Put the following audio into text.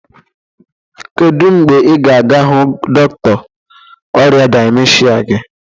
kedu mgbe ị ga-aga hụ dọkịta ọrịa dịmensha gị?